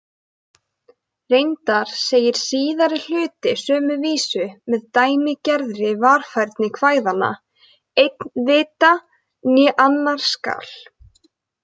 Reyndar segir síðari hluti sömu vísu, með dæmigerðri varfærni kvæðanna: Einn vita né annar skal.